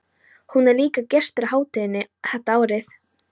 Hún er líka gestur á hátíðinni þetta árið.